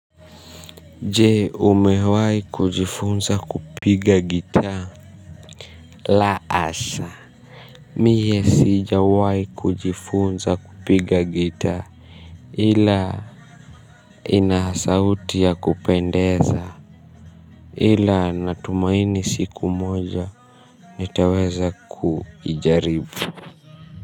Je umewahi kujifunza kupiga gita. La hasha, mie sijawahi kujifunza kupiga gitaa ila inasauti ya kupendeza ila natumaini siku moja nitaweza kuijaribu.